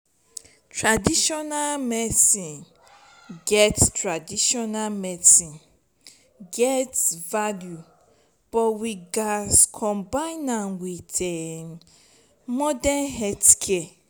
traditional medicine get traditional medicine get value but we gats combine am with um modern healthcare.